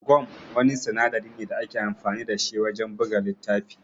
Gam Wani sinadari ne da ake amfani da shi wajan buga littafi